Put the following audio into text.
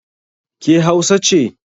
Ke Hausa ce?